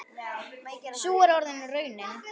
Sú er orðin raunin.